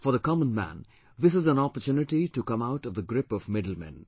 For the common man this is an opportunity to come out of the grip of middlemen